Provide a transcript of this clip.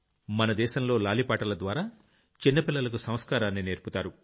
మన దేశంలో లాలి పాటల ద్వారా చిన్న పిల్లలకు సంస్కారాన్ని నేర్పుతారు